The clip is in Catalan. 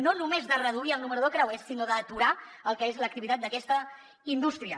no només de reduir el nombre de creuers sinó d’aturar el que és l’activitat d’aquesta indústria